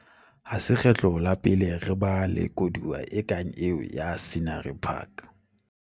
Ha se kgetlo la pele re ba le koduwa e kang eo ya Scenery Park.